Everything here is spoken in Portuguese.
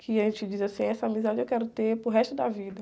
Que a gente diz assim, essa amizade eu quero ter para o resto da vida.